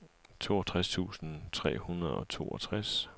toogtres tusind tre hundrede og toogtres